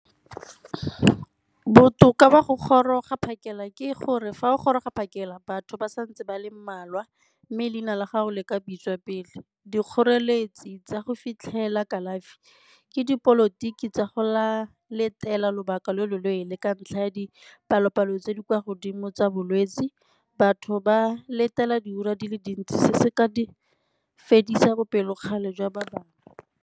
Botoka ba go goroga phakela ke gore fa o goroga phakela batho ba sa ntse ba le mmalwa mme leina la gago le ka bitswa pele. Dikgoreletsi tsa go fitlhela kalafi ke dipolotiki tsa go letela lobaka lo lo leele ka ntlha ya dipalo-palo tse di kwa godimo tsa bolwetse batho ba letela diura di le dintsi se se ka di fedisa bopelokgale jwa ba bangwe.